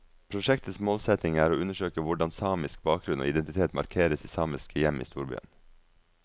Prosjektets målsetning er å undersøke hvordan samisk bakgrunn og identitet markeres i samiske hjem i storbyen.